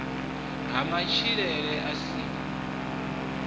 ha matshilele a si a